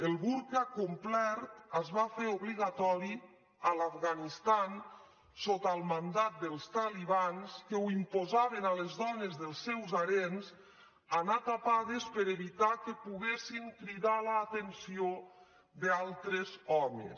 el burca complet es va fer obligatori a l’afganistan sota el mandat dels talibans que imposaven a les dones dels seus harems anar tapades per evitar que poguessin cridar l’atenció d’altres homes